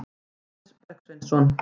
Jóhannes Bergsveinsson.